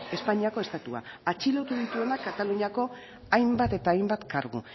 espainiako estatua atxilotu dituenak kataluniako hainbat eta hainbat kargu